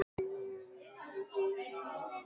Hann sneri sér við í gættinni.